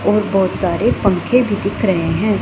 और बहोत सारे पंखे भी दिख रहे हैं।